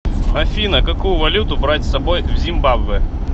афина какую валюту брать с собой в зимбабве